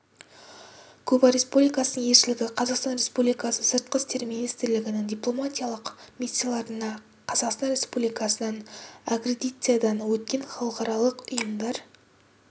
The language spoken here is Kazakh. куба республикасының елшілігі қазақстан республикасы сыртқы істер министрілігінің дипломатиялық миссияларына қазақстан республикасынан аккредитациядан өткен халықаралық ұйымдар